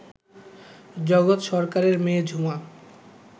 জগৎ সরকারের মেয়ে ঝুমা